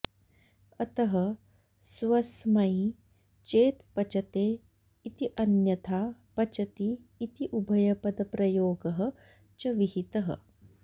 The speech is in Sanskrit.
अतः स्वस्मै चेत् पचते इति अन्यथा पचति इति उभयपदप्रयोगः च विहितः